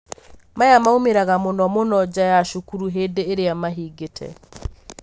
maya maumĩraga mũno mũno nja ya cukuru hĩndĩ iria mahingĩte.